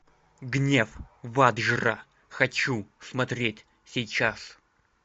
гнев ваджра хочу смотреть сейчас